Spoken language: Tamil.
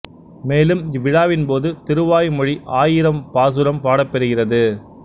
மேலும் இவ்விழாவின் போது திருவாய் மொழி ஆயிரம் பாசுரம் பாடப்பெறுகிறது